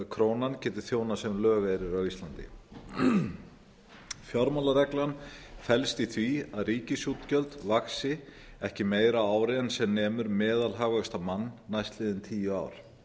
krónan geti þjónað sem lögeyrir á íslandi fjármálareglan felst í því að ríkisútgjöld vaxi ekki meira á ári sem nemur meðalhagvexti á mann næstliðin tíu ár